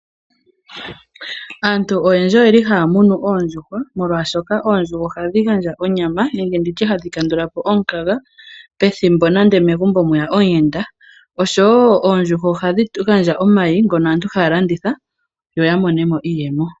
Aantu oyendji oyeli haya munu oondjuhwa molwashoka oondjuhwa ohadhi gandja onyama nenge nditye hadhi kandulapo omukaga pethimbo nande megumbo mweya omuyenda. Oshowo oondjuhwa ohadhi gandja omayi ngono aantu haya landitha yoya monemo iiyemo.